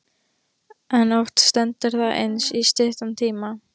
En oft stendur það aðeins í stuttan tíma.